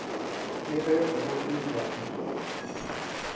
le ge go le bjale